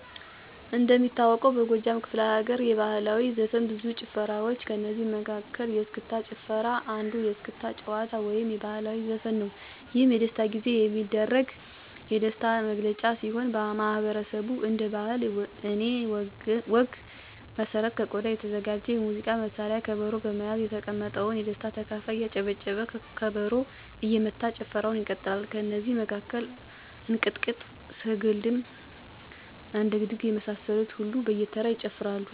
እንደሚታወቀው በጎጃም ክፍለ ለገርየባህላዊ ዘፈን ብዙ ጭፈራዋ ጭፈራዋች ከእነዚህ መለ መሀከል የስክስታጭፈራ አንዱየስክስታ ጭዋታ ወይም ባህልዊ ዘፈንነዉ። የህም የደስታጊዜ የሚደረግ የደሥታ ጊዜየሚደረግ የደሥታ ነግለጫ ሲሆን ማህበረሠቡ እንደ ባህለ እኔ ወግ መሠረት ከቆዳ የተዘጋጀ የሙዚቃ መሳሪያ ከበሮ በመያዝ የተቀመጠው የደስታ ተካፋይ እያጨበጨበ ከበሮ እየመታ ጭፈረዉን ይቀጥላል። ከነዚ መካከል እንቅጥቅጥ፣ ስገሐልድም፣ አደግድግ የመሳሰሉትን ሁሉም በየተራ ይጨፍራሉ።